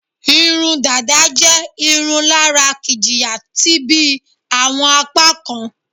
Irun dada je irun lara kijiya ti bi awọn apakan